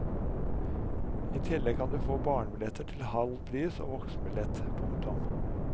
I tillegg kan du få barnebilletter til halv pris av voksenbillett. punktum